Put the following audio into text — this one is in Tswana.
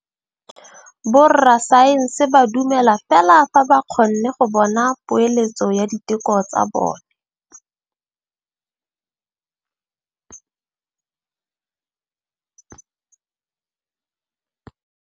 Borra saense ba dumela fela fa ba kgonne go bona poeletsô ya diteko tsa bone.